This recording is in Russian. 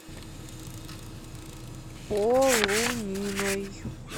полуниной